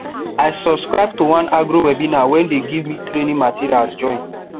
i subscribe to one agro webinar wey dey give me training materials join